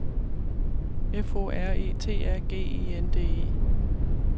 F O R E T A G E N D E